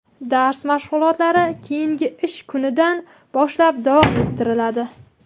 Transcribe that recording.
dars mashg‘ulotlari keyingi ish kunidan boshlab davom ettiriladi.